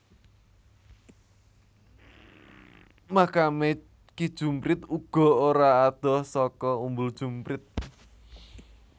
Makame Ki Jumprit uga ora adoh saka Umbul Jumprit